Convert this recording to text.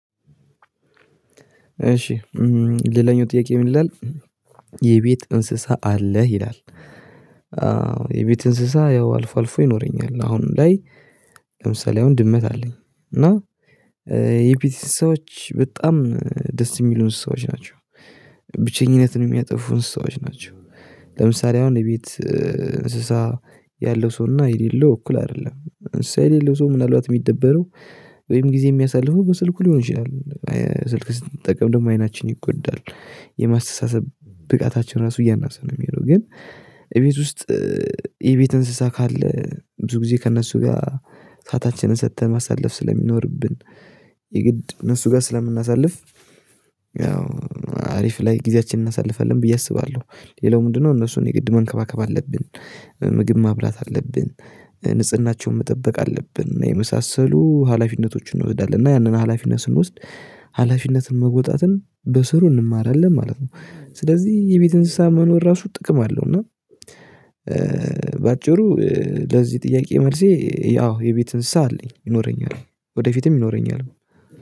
እሺ ሌላኛው ጥያቄ ምን ይላል? የቤት እንስሳ አለህ ይላል? የቤት እንስሳ ያው አልፎ አልፎ ይኖረኛል አሁን ላይ። ለምሳሌ አሁን ድመት አለኝ። እና የፊት ሰዎች በጣም ደስ የሚሉን ሰዎች ናቸው። ብቸኝነትን የሚያጠፉን እንስሳዎች ናቸው። ለምሳሌ አሁን የቤት እንስሳ ያለው ሰውና የሌለው እኩል አይደለም እንስሳ የሌለው ሰው ምናልባት የሚደበረው ወይም ጊዜ የሚያሳልፈው በስልኩ ሊሆን ይችላል። ስልክ ስትጠቀም ደግሞ አይናችን ይጎዳል። የማስተሳሰብ ብቃታችን ራሱ እያነሰ ነው የሚሄደው ግን። እቤት ውስጥ የቤት እንስሳ ካለ ብዙ ጊዜ ከእነሱ ጋር ሰአታችንን ሰጥተን ማሳለፍ ስለሚኖርብን። የግድ እነሱ ጋር ስለምናሳልፍ ያው አሪፍ ላይ ጊዜያችንን እናሳልፋለን ብዬ አስባለሁ። ሌላው ምንድነው እነሱን የግድ መንከባከብ አለብን። ምግብ ማብላት አለብን። ንጽህናቸውን መጠበቅ አለብን የመሳሰሉ ሀላፊነቶችን እንወስዳለን እና ያንን ሀላፊነት ስንወስድ ሀላፊነትን መውጣትን በስሩ እንማራለን ማለት ነው። ስለዚህ የቤት እንስሳ መኖር ራሱ ጥቅም አለው። እና በአጭሩ ለዚህ ጥያቄ መልሴ ያው የቤትም አለኝ ይኖረኛል ወደፊትም ይኖረኛል